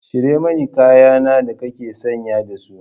Cire mani kaya na da kake sanye da su!